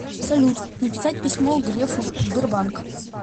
салют написать письмо грефу сбербанк